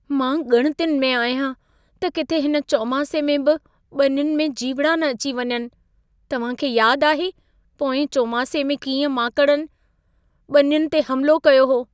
मां ॻणितियुनि में आहियां त किथे हिन चौमासे में बि ॿनियुनि में जीवड़ा न अची वञनि। तव्हां खे याद आहे, पोएं चौमासे में कीअं माकड़नि ॿनियुनि ते हमलो कयो हो।